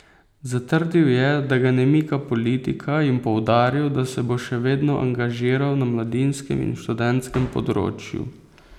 Zatrdil je, da ga ne mika politika, in poudaril, da se bo še vedno angažiral na mladinskem in študentskem področju.